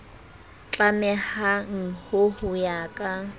tlamehang ho ho ya ka